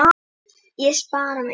Ég spjara mig.